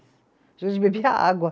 A gente bebia água.